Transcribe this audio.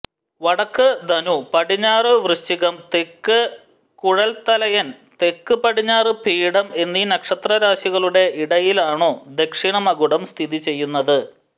വടക്ക് ധനു പടിഞ്ഞാറ് വൃശ്ചികം തെക്ക് കുഴൽത്തലയൻ തെക്ക് പടിഞ്ഞാറ് പീഠം എന്നീ നക്ഷത്രരാശികളുടെ ഇടയിലാണാ ദക്ഷിണമകുടം സ്ഥിതി ചെയ്യുന്നത്